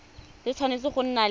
le tshwanetse go nna le